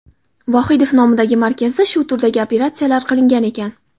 Vohidov nomidagi markazda shu turdagi operatsiyalar qilingan ekan.